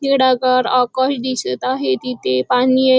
निडागार आकाश दिसत आहे तिथे पाणी ए .